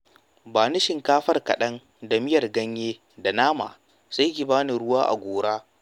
Ba ni shinkafar kaɗan da miyar ganye da nama, sai ki bani ruwan gora.